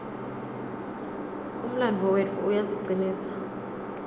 umlandvo wetfu uyasicinisa